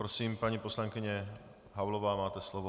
Prosím, paní poslankyně Havlová, máte slovo.